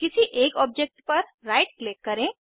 किसी एक ऑब्जेक्ट पर राइट क्लिक करें